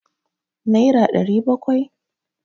naira ɗari bakwai?